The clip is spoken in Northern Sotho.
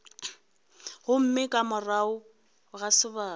gomme ka morago ga sebaka